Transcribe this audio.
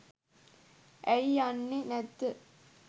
ඇයි යන්නේ නැද්ද